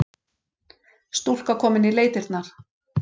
Stúlka komin í leitirnar